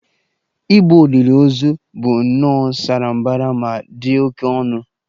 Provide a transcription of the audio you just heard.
Igbo olili ozu bụ nnọọ sara mbara ma dị oké ọnụ